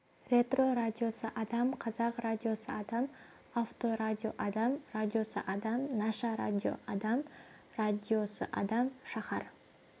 ретро радиосы адам қазақ радиосы адам авторадио адам радиосы адам наша радио адам радиосы адам шаһар